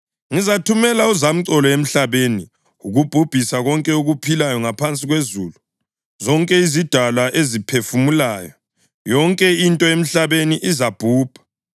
Ngizathumela uzamcolo emhlabeni ukubhubhisa konke okuphilayo ngaphansi kwezulu, zonke izidalwa eziphefumulayo. Yonke into emhlabeni izabhubha.